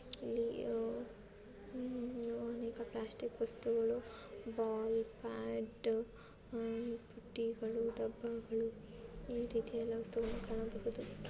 ಇಲ್ಲಿ ಉಮ್ ಅನೇಕ ಪ್ಲಾಸ್ಟಿಕ್ ವಸ್ತುಗಳು ಬಾಲ್ ಬ್ಯಾಟ್ ಅಹ್ ಬುಟ್ಟಿಗಳು ಡಬ್ಬಗಳು ಈ ರೀತಿಯಾದ ವಸ್ತುಗಳನ್ನು ಕಾಣಬಹುದು.